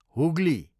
Hooghly